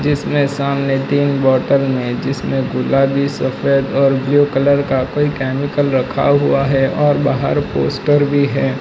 इसमें सामने तीन बॉटल में जिसमें गुलाबी सफेद और ब्लू कलर का कोई केमिकल रखा हुआ है और बाहर पोस्टर भी है।